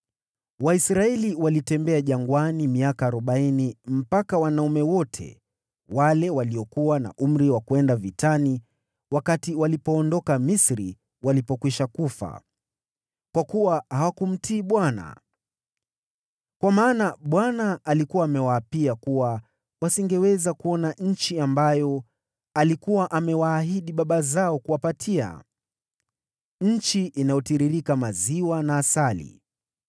Waisraeli walitembea jangwani miaka arobaini mpaka wanaume wote wale waliokuwa na umri wa kwenda vitani wakati waliondoka Misri walipokwisha kufa, kwa kuwa hawakumtii Bwana . Kwa maana Bwana alikuwa amewaapia kuwa wasingeweza kuona nchi ambayo alikuwa amewaahidi baba zao katika kuapa kutupatia, nchi inayotiririka maziwa na asali.